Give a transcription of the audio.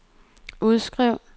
udskriv